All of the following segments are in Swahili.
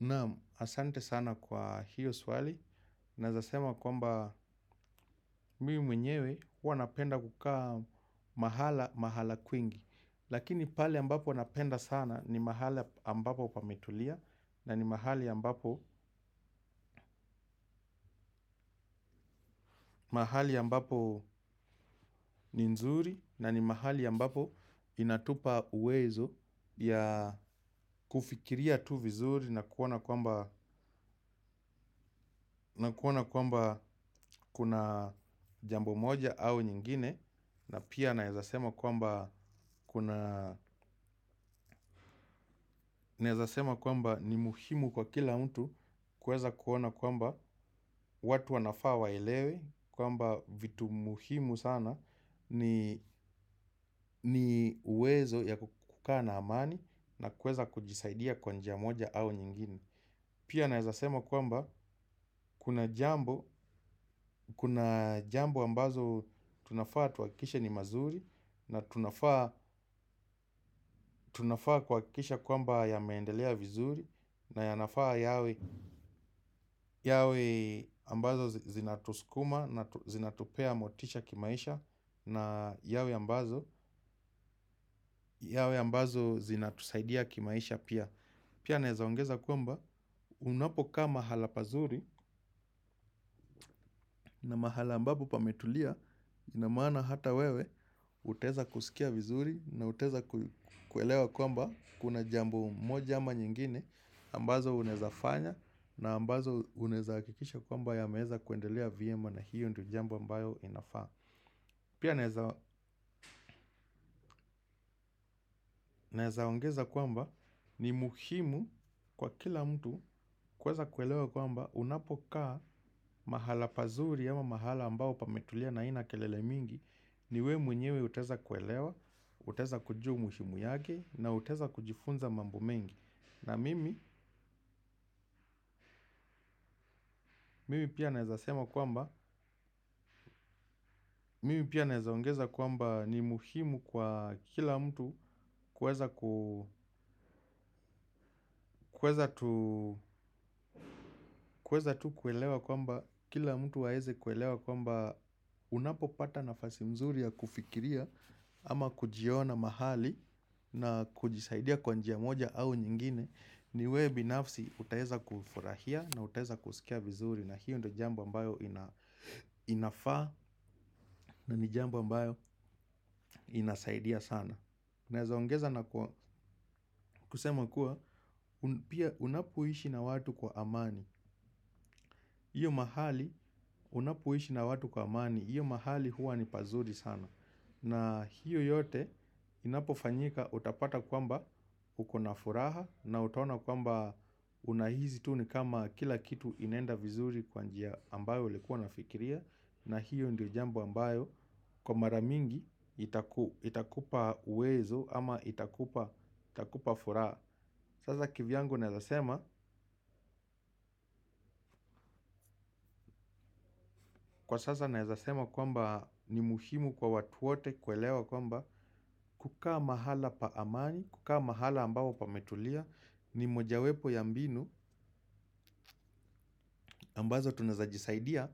Naam asante sana kwa hiyo swali, naezasema kwamba mii mwenyewe hua napenda kukaa mahala mahala kwingi. Lakini pale ambapo napenda sana ni mahala ambapo pametulia nani mahali ambapo ni nzuri na ni mahali ambapo inatupa uwezo ya kufikiria tu vizuri. Na kuona kwamba kuna jambo moja au nyingine. Na pia naezasema kwamba ni muhimu kwa kila mtu. Kuweza kuona kuwamba watu wanafaa waelewe kwamba vitu muhimu sana ni uwezo ya kukaa na amani na kuweza kujisaidia kwa njia moja au nyingine. Pia naezasema kwamba kuna jambo ambazo tunafaa tuwakikishe ni mazuri na tunafaa kuwakikisha kwamba yameendelea vizuri na yanafaa yawe ambazo zina tuskuma na zinatupea motisha kimaisha na yawe ambazo zinatusaidia kimaisha pia. Pia naezaongeza kwamba unapokaa mahala pazuri na mahala ambapo pametulia inamaana hata wewe utaeza kusikia vizuri na utaeza kuelewa kwamba kuna jambo moja ama nyingine ambazo unaezafanya na ambazo unaeza akikisha kwamba yameeza kuendelea vyema na hiyo jambo ambayo inafaa. Pia naeza ongeza kwamba ni muhimu kwa kila mtu kuweza kuelewa kwamba unapokaa mahala pazuri ama mahala ambao pametulia na ainakelele mingi ni we mwenyewe utaeza kuelewa, utaeza kujua muhimu yake na utaeza kujifunza mambo mengi. Na mimi, mimi pia naezasema kwamba, mimi pia naezaongeza kwamba ni muhimu kwa kila mtu kueza tu kuelewa kwamba kila mtu waeze kuelewa kwamba unapo pata nafasi mzuri ya kufikiria ama kujiona mahali na kujisaidia kwa njia moja au nyingine. Niwe binafsi utaeza kufurahia na utaeza kusikia vizuri. Na hiyo ndo jambo ambayo inafaa na ni jambo ambayo inasaidia sana. Naeza ongeza na kusema kuwa unapoishi na watu kwa amani. Hiyo mahali huwa ni pazuri sana. Na hiyo yote inapofanyika utapata kwamba uko na furaha. Na utaona kwamba unahisi tu ni kama kila kitu inaenda vizuri kwa njia ambayo ulikuwa unafikiria. Na hiyo ndio jambo ambayo kwa maramingi itakupa uwezo ama itakupa furaha. Sasa kivyangu naeza sema kwamba ni muhimu kwa watu wote kuelewa kwamba kukaa mahala pa amani, kukaa mahala ambapo pametulia ni mojawepo ya mbinu ambazo tunaezajisaidia.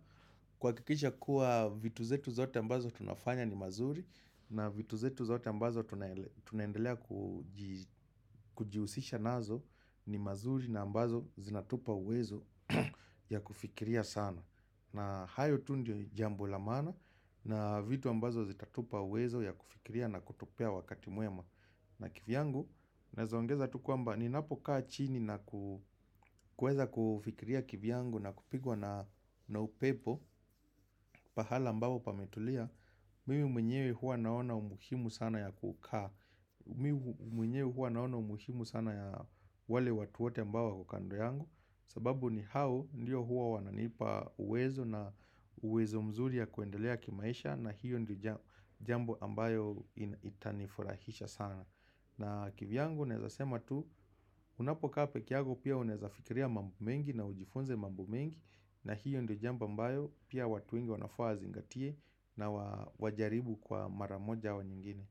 Kuwakikisha kuwa vitu zetu zote ambazo tunafanya ni mazuri na vitu zetu zote ambazo tunaendelea kujihusisha nazo ni mazuri na ambazo zinatupa uwezo ya kufikiria sana. Na hayo tu ndio jambo la maana na vitu ambazo zitatupa uwezo ya kufikiria na kutupea wakati mwema na kivyangu. Naezaongeza tu kwamba ni napokaa chini na kuweza kufikiria kivyangu na kupigwa na upepo. Pahala ambapo pametulia mimi mwenyewe hua naona umuhimu sana ya kukaa mimi mwenyewe hua naona umuhimu sana ya wale watu wote ambao wako kando yangu. Sababu ni hao ndiyo hua wananipa uwezo na uwezo mzuri ya kuendelea kimaisha. Na hiyo ndiyo jambo ambayo itanifurahisha sana. Na kivyangu naezasema tu unapokaa peke yako pia unaezafikiria mambo mengi na ujifunze mambo mengi na hiyo ndo jambo mbayo pia watu wengi wanafaa wazingatie na wajaribu kwa mara moja wa nyingine.